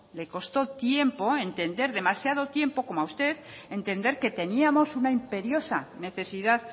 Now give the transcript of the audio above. le costó tiempo entender demasiado tiempo como a usted entender que teníamos una imperiosa necesidad